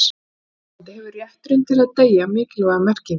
í því sambandi hefur rétturinn til að deyja mikilvæga merkingu